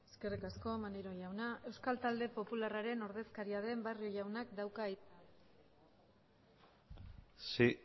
eskerrik asko maneiro jauna euskal talde popularraren ordezkaria den barrio jaunak dauka hitza sí